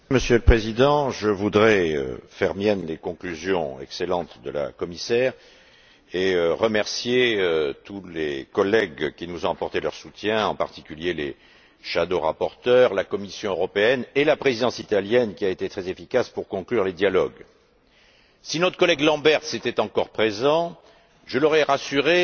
Monsieur le Président, je voudrais faire miennes les excellentes conclusions de Mme la Commissaire et remercier tous les collègues qui nous ont apporté leur soutien, en particulier les rapporteurs fictifs, la Commission européenne et la Présidence italienne, qui a été très efficace pour conclure les dialogues. Si notre collègue Lamberts était encore présent, je l'aurais rassuré